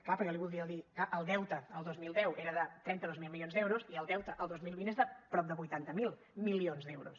però jo li voldria dir clar el deute el dos mil deu era de trenta dos mil milions d’euros i el deute el dos mil vint és de prop de vuitanta miler milions d’euros